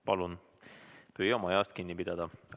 Palun püüame ajast kinni pidada.